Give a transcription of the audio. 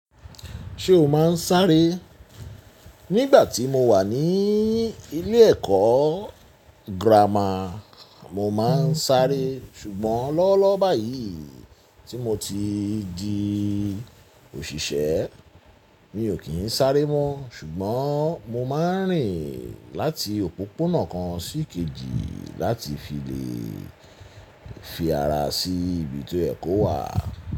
Ṣé o máa ń sáré? Nígbà tí mo wà ní ilé ẹ̀kọ́ girama, mo máa ń sáré ṣùgbọ́n lọ́wọ́lọ́wọ́ báyìí tí mo ti di òṣìṣẹ́, mi ò kí ń sáré mọ́. Ṣùgbọ́n mo máa ń rìn láti òpópónà kan sí kejì láti fi lè fi ara sí ibi tó yẹ́ kò wà.